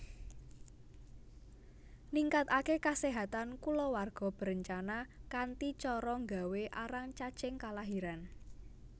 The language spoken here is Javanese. Ningkatake kasehatan kulawarga berencana kanthi cara nggawé arang caching kalahiran